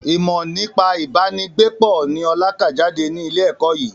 Ìmọ nípa ibà ni gbé pọ̀ ni ọ̀la ká jáde ní ilé ẹ̀kọ́ yìí